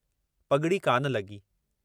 पगड़ी कान लगी।